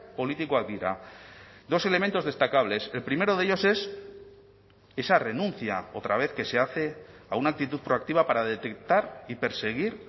politikoak dira dos elementos destacables el primero de ellos es esa renuncia otra vez que se hace a una actitud proactiva para detectar y perseguir